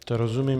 To rozumím.